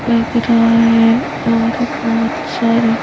लग रहा है और बहोत सारे--